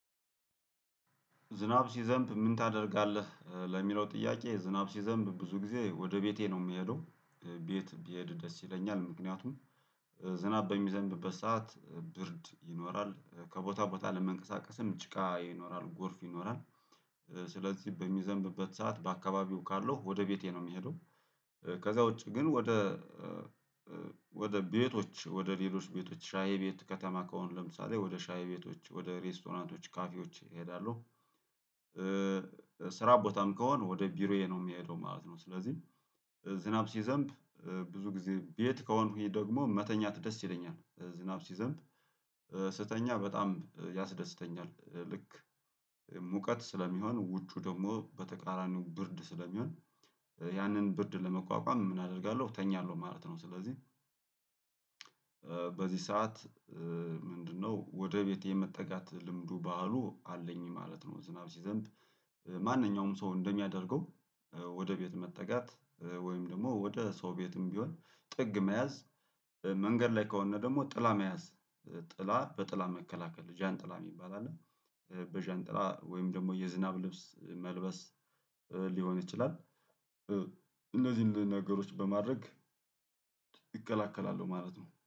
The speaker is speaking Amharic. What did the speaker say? ዝናብ ሲዘንብ ምን ታደርጋለህ? ለሚለው ጥያቄ ዝናብ ሲዘንብ ብዙ ጊዜ ወደ ቤቴ ነው የምሄደው ቤት ቢሄድ ደስ ይለኛል ምክንያቱም። ዝናብ በሚዘንብበት ሰዓት ብርድ ይኖራል ከቦታ ቦታ ለመንቀሳቀስም ጭቃ ይኖራል ጎርፍ ይኖራል። ስለዚህ በሚዘንብበት ሰዓት በአካባቢው ካለው ወደ ቤቴ ነው የሚሄደው። ከዛ ውጪ ግን ወደ ወደ ቤቶች ወደ ሌሎች ቤቶች ሻይ ቤት ከተማ ከሆነ ለምሳሌ ወደ ሻይ ቤቶች ወደ ሬስቶራንቶች ካፌዎች እሄዳለሁ። ስራ ቦታም ከሆነ ወደ ቢሮዬ ነው የሚሄደው ማለት ነው። ስለዚህ ዝናብ ሲዘንብ ብዙ ጊዜ ቤት ከሆንኩኝ ደግሞ መተኛት ደስ ይለኛል። ዝናብ ሲዘንብ ስተኛ በጣም ያስደስተኛል። ልክ ሙቀት ስለሚሆን ውጩ ደግሞ በተቃራኒው ብርድ ስለሚሆን ያንን ብርድ ለመቋቋም ምን አደርጋለሁ እተኛለሁ ማለት ነው። ስለዚህ በዚህ ሰዓት ምንድነው ወደ ቤቴ የመጠጋት ልምዱ ባህሉ አለኝ ማለት ነው። ዝናብ ሲዘንብ ማንኛውም ሰው እንደሚያደርገው ወደ ቤት መጠጋት ወይም ደግሞ ወደ ሰው ቤትም ቢሆን ጥግ መያዝ መንገድ ላይ ከሆን ደግሞ ጥላ መያዝ ጥላ በጥላ መከላከል ጃንጥላ የሚባል አለ። በጃንጥላ ወይም ደግሞ የዝናብ ልብስ መልበስ ሊሆን ይችላል። እነዚህን ነገሮች በማድረግ እከላከላለው ማለት ነው